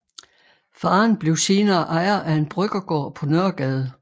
Faren blev senere ejer af en bryggergård på Nørregade